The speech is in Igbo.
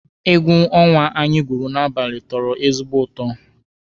Egwu ọnwa anyị gwuru n'abalị tọrọ ezigbo ụtọ